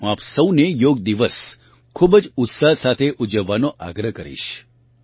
હું આપ સૌને યોગ દિવસ ખૂબ જ ઉત્સાહ સાથે ઊજવવાનો આગ્રહ કરીશ